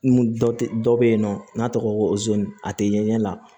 Mun dɔ tɛ dɔ bɛ yen nɔ n'a tɔgɔ ko a tɛ ɲɛ la